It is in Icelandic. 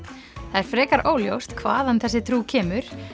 það er frekar óljóst hvaðan þessi trú kemur